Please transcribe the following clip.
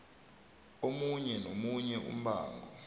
omunye nomunye umbango